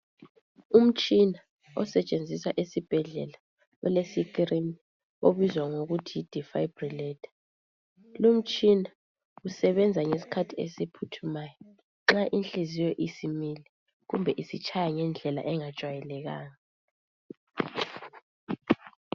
Umtshina osetshenziswa ezibhedlela ole screen obizwa ngokuthi defibrillator lumtshina usebenza ngesikhathi esiphuthumayo nxa inhliziyo isimile kumbe isitshaya ngendlela esingajwayelekanga